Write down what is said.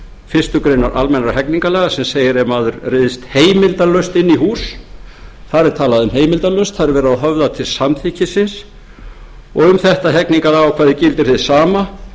fyrstu grein almennra hegningarlaga sem segir ef maður ryðst heimildarlaust inn í hús þar er talað um heimildarlaust þar er verið að höfða til samþykkisins um þetta hegningarákvæði gildir hið sama